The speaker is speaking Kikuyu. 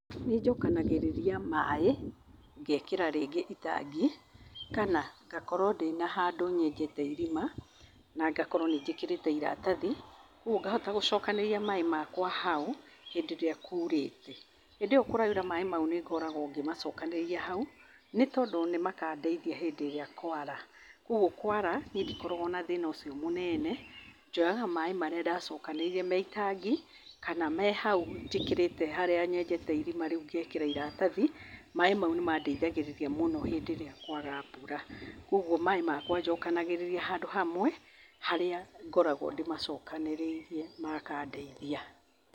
Nĩnjokanagĩrĩria maaĩ, ngekĩra rĩngĩ itangi ,kana ngakorwo ndĩna handũ nyenjete irima, na ngakorwo nĩ njĩkĩrĩte iratathi, ũguo ngahota gũcokanĩrĩria maaĩ makwa hau, hĩndĩ ĩrĩa kuurĩte. Hĩndĩ ĩo kũraura maaĩ mau nĩ ngoragwo ngĩmacokanĩrĩria hau, nĩ tondũ nĩ makandeithia hĩndĩ ĩrĩa kwara. Ũguo kwara, niĩ ndikoragwo na thĩĩna ũcio mũnene njoyaga maaĩ marĩa ndacokanĩrĩirie me itangi kana me hau njĩkĩrĩte harĩa nyenjete irima rĩu ngekĩra iratathi maaĩ mau nĩ mandeithagĩrĩria mũno hĩndĩ ĩrĩa kwaga mbura. Kwoguo maaĩ makwa njokanagĩrĩria handũ hamwe harĩa ngoragwo ndĩmacokanĩrĩirie makandeithia.